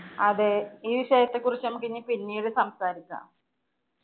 അതെ ഈ വിഷയത്തെക്കുറിച്ച് ഇനി നമുക്ക് പിന്നീട് സംസാരിക്കാം.